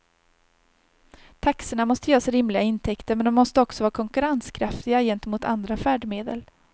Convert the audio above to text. Taxorna måste ge oss rimliga intäkter, men de måste också vara konkurrenskraftiga gentemot andra färdmedel.